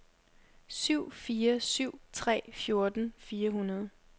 syv fire syv tre fjorten fire hundrede